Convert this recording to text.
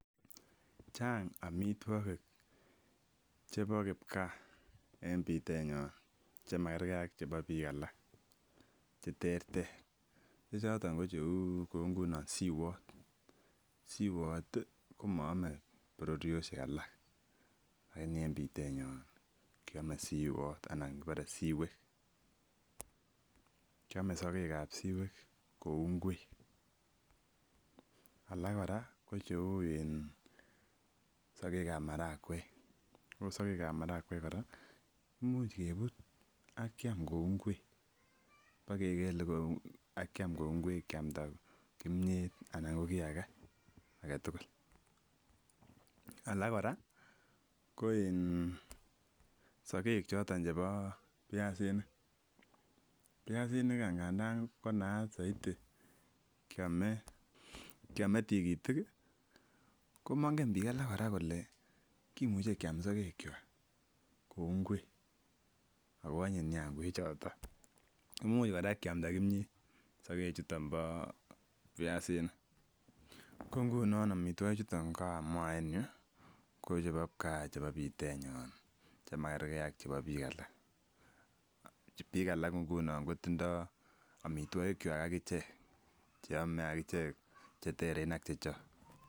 Chang omitwokik chebo kipkaa en bitenyon chemakerke an bik alak cheterter che choton ko cheu kou ngunon siwot, sowotii komoome bororioshek lakini en bitenyeo kiome siwot ana kibore siwek. Kiome sokek ab siwek kou ngwek alak Koraa ko cheu in sokek ab marakwek, ko sokek ab marakwek Koraa imuch kebut ak kiam kou ingwek bokekele kou ak kiam kou ngwek kiamda imiet anan ko kii agetukul. Alak Koraa ko in sokek choton chebo piasinik, piasinik any ngandan ko naat soiti kiome kiome tikitik komonge bik alak Koraa kole kimuche kiam sokek kwak kou ngwek ako onyin nia ngwek choton, imuch koraa kiamda kimiet sokek chuton bo piasinik ko nguno omitwoki chu kamua en yuu ko chebo kipkaa chebo bitenyon chemakerke ak chebo bik alak. Bik alak nguno kotindo omitwokik kwak akichek cheome akichek cheteren ak Chechok.